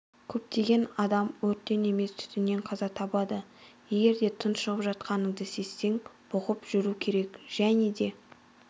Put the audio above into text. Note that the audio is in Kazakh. көптеген адам өрттен емес түтіннен қаза табады егерде тұншығып жатқаныңды сезсең бұғып жүру керек және де